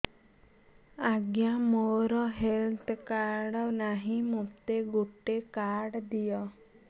ଆଜ୍ଞା ମୋର health card ନାହିଁ ମୋତେ ଗୋଟେ କାର୍ଡ ଦିଅ